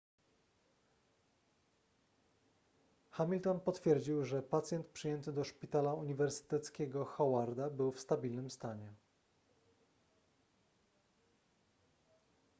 hamilton potwierdził że pacjent przyjęty do szpitala uniwersyteckiego howarda był w stabilnym stanie